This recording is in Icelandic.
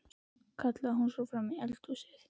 kallaði hún svo fram í eldhúsið.